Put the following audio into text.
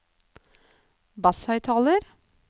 basshøyttaler